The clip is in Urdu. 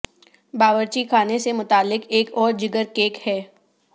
باورچی خانے سے متعلق ایک اور جگر کیک ہے